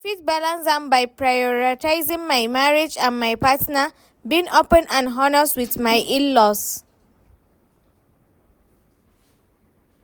I fit balance am by prioritizing my marriage and my partner, being open and honest with my in-laws.